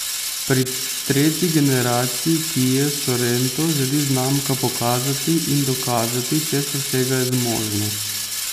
Pri tretji generaciji kie sorento želi znamka pokazati in dokazati, česa vsega je zmožna.